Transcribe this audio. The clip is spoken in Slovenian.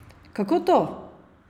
Kako to?